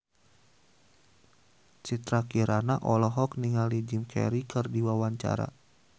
Citra Kirana olohok ningali Jim Carey keur diwawancara